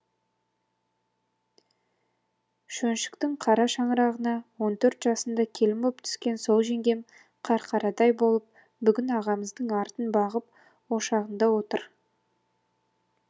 шөншіктің қара шаңырағына он төрт жасында келін боп түскен сол жеңгем қарқарадай болып бүгін ағамыздың артын бағып ошағында отыр